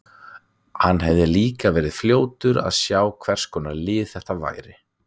Hann hefði líka verið fljótur að sjá hvers konar lið þetta væri.